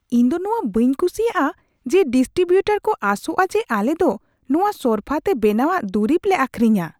ᱤᱧᱫᱚ ᱱᱚᱶᱟ ᱵᱟᱹᱧ ᱠᱩᱥᱤᱭᱟᱜᱼᱟ ᱡᱮ ᱰᱤᱰᱴᱨᱤᱵᱩᱴᱟᱨ ᱠᱚ ᱟᱥᱚᱜᱼᱟ ᱡᱮ ᱟᱞᱮᱫᱚ ᱱᱚᱶᱟ ᱥᱚᱨᱯᱷᱟᱛᱮ ᱵᱮᱱᱟᱣᱟᱜ ᱫᱩᱨᱤᱵ ᱞᱮ ᱟᱹᱠᱷᱨᱤᱧᱟ ᱾